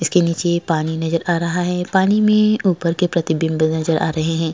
इसके नीचे पानी नजर आ रहा है। पानी में ऊपर के प्रतिबिम्ब नजर आ रहे हैं।